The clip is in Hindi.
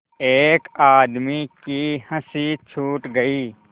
एक आदमी की हँसी छूट गई